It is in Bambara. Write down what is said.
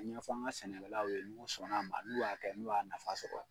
A ɲɛfɔ an ka sɛnɛkɛlaw ye n'u sɔn n'a ma n'u y'a kɛ n'u y'a nafa sɔrɔ.